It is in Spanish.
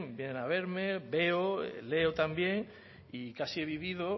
vienen a verme veo leo también y casi he vivido